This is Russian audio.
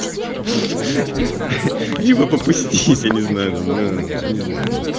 не попусти я не знаю